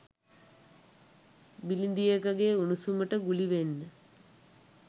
බිලිඳියකගේ උණුසුමට ගුලි වෙන්න